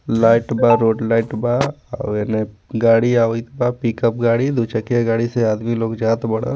Light बा road light बा और ऐमे गाड़ी आवत बा पिकप गाड़ी दू चकिया गाड़ी से आदमी लोग जात बाड़न.